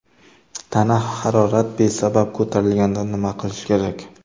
Tana harorat besabab ko‘tarilganda nima qilish kerak?